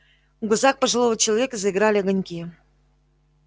в глазах пожилого человека заиграли огоньки